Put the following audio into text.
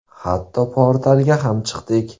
Hatto portalga ham chiqdik.